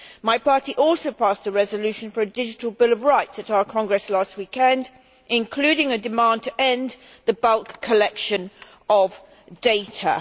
My party also passed a resolution for a digital bill of rights at our congress last weekend, including a demand to end the bulk collection of data.